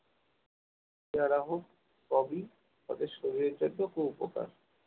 পেয়ারা হোক সবই সবই শরীরের জন্য খুব উপকার